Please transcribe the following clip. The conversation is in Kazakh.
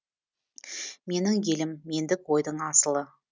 менің елім мендік ойдың асылы